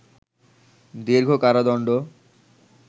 দীর্ঘ কারাদণ্ড